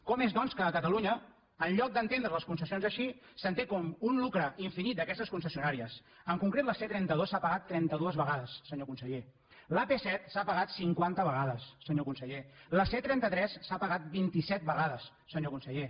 com és doncs que a catalunya en lloc d’entendre’s les concessions així s’entén com un lucre infinit d’aquestes concessionàries en concret la c trenta dos s’ha pagat trenta dues vegades senyor conseller l’ap set s’ha pagat cinquanta vegades senyor conseller la c trenta tres s’ha pagat vint i set vegades senyor conseller